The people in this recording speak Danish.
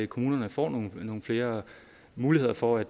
kommunerne får nogle flere muligheder for at